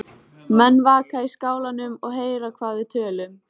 Menn vaka í skálanum og heyra hvað við tölum.